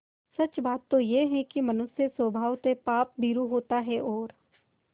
सच बात तो यह है कि मनुष्य स्वभावतः पापभीरु होता है और